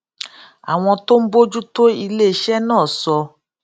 àwọn tó ń bójú tó iléiṣé náà sọ